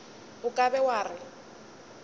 o ka be wa re